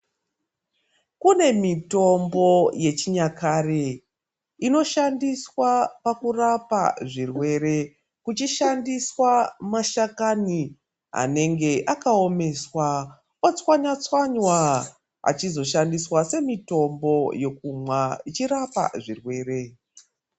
Kune mitombo yechinyakare inoshandiswa pakurapa zvirwere kuchishandiswa mashakani anenge akaomeswa otswanywatswanywa achizoshandiswa semitombo yekumwa ichirapa zvirwere.